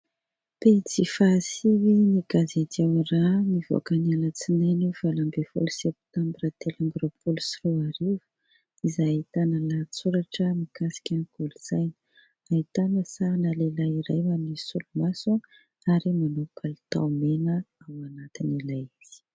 Pejy faha sivin'ny gazety "Ao raha" ; nivoaka ny alatsinainy valo ambin'ny folo septambra telo amby roapolo sy roa arivo. Izay ahitana lahatsoratra mikasika ny kolontsaina. Ahitana sarina lehilahy iray manisy solomaso ary manao palitao mena ao anatin'ilay izy.